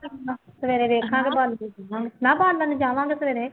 ਸਵੇਰੇ ਦੇਖਾਂਗੇ ਬਾਲ ਕੇ, ਚੁੱਲ੍ਹਾ ਬਾਲਣ ਜਾਵਾਂਗੇ ਸਵੇਰੇ